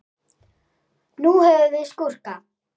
Nú höfum við skúrka.